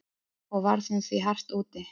Og varð hún því hart úti.